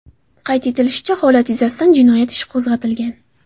Qayd etilishicha, holat yuzasidan jinoyat ishi qo‘zg‘atilgan.